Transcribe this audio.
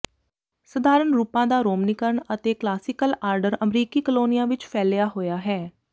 ਸਧਾਰਨ ਰੂਪਾਂ ਦਾ ਰੋਮਨੀਕਰਨ ਅਤੇ ਕਲਾਸੀਕਲ ਆਰਡਰ ਅਮਰੀਕੀ ਕਲੋਨੀਆਂ ਵਿਚ ਫੈਲਿਆ ਹੋਇਆ ਹੈ